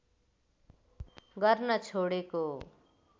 गर्न छोडेको